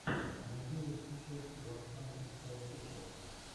найди лучшую часть уан хандридпроофишиал